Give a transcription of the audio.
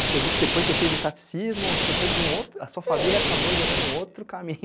Porque eu vi que depois você fez o catecismo, a sua família acabou gerando um outro caminho